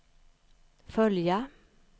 följa